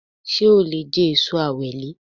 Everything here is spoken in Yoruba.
Sé o lè je èso Ewèlè